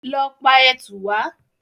Lọ pa ẹtù wá!